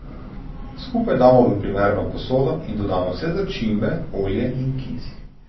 Skupaj damo v primerno posodo in dodamo vse začimbe, olje in kis.